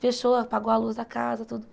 Fechou, apagou a luz da casa, tudo.